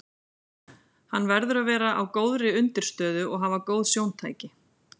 Hann verður að vera á góðri undirstöðu og hafa góð sjóntæki.